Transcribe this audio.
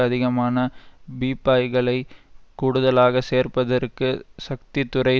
அதிகமான பீப்பாய்களைக் கூடுதலாக சேர்ப்பதற்கு சக்தித்துறை